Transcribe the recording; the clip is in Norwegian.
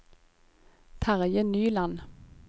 Terje Nyland